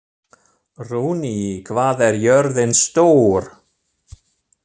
Runi, hvað er jörðin stór?